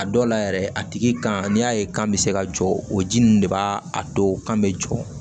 A dɔw la yɛrɛ a tigi kan n'i y'a ye kan bɛ se ka jɔ o ji ninnu de b'a a don kan bɛ jɔ